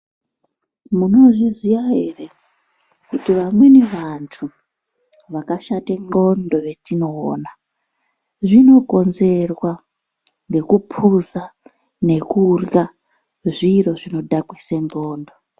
Munozviziya ere, kuti vamweni vantu vakashate ndxondo vetinoona, zvinokonzerwa nekuphuza, ngekurya zviro zvinodhakwise ndxondo.